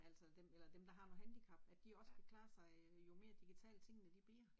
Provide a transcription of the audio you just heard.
Altså dem eller dem der har noget handicap, at de også kan klare sig jo mere digitale, tingene de bliver